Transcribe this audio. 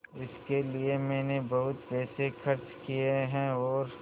इसके लिए मैंने बहुत पैसे खर्च किए हैं और